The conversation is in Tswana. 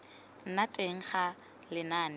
nna teng ga lenane la